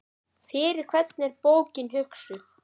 Fyrir hvern er bókin hugsuð?